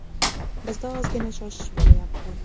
Bizda ozgina shoshish bo‘layapti.